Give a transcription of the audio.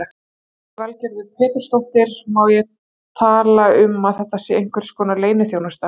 Lillý Valgerður Pétursdóttir: Má tala um að þetta sé einhverskonar leyniþjónusta?